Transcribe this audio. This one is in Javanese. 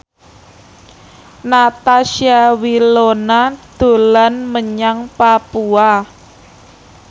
Natasha Wilona dolan menyang Papua